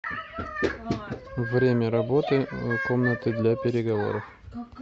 время работы комнаты для переговоров